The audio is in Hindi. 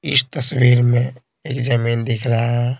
इस तस्वीर में एक जमीन दिख रहा है।